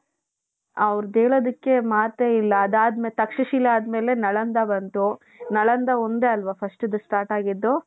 ಅವರದ್ದು ಹೇಳೋದಕ್ಕೆ ಮಾತೆ ಇಲ್ಲ ಅದಾದ ಮೇಲೆ ತಕ್ಷಶಿಲಾ ಆದಮೇಲೆ ನಳಂದ ಬಂತು ನಳಂದ ಒಂದೇ ಅಲ್ವಾ firstದು start ಆಗಿದ್ದು .